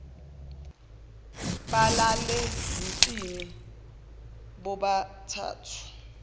balale yinsini bobathathu